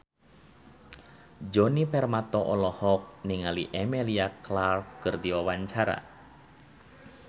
Djoni Permato olohok ningali Emilia Clarke keur diwawancara